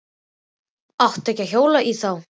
Átti ekki að hjóla í þá.